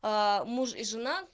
а муж и жена